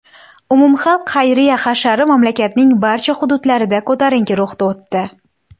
Umumxalq xayriya hashari mamlakatning barcha hududlarida ko‘tarinki ruhda o‘tdi.